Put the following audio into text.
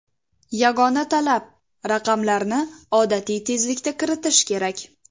Yagona talab raqamlarni odatiy tezlikda kiritish kerak.